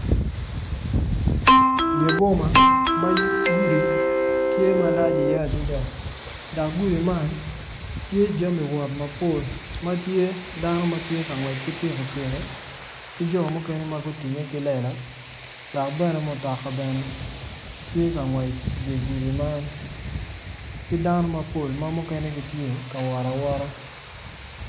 Dye boma ma gudi tye malac iye adada dok gudi man tye jami wot mapol ma tye dano ma tye ka ngwec ki pikipiki ki jo mukene ma gutinge ki lela dok bene mutoka bene tye ka ngwec idye gudi man ki dano mapol ma mukene gitye ka wot awota.